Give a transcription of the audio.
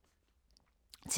TV 2